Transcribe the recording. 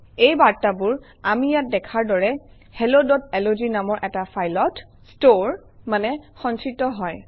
এই বাৰ্তাবোৰ আমি ইয়াত দেখাৰ দৰে helloলগ নামৰ এটা ফাইলত ষ্টৰে মানে সঞ্চিত হয়